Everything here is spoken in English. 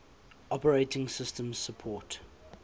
operating systems support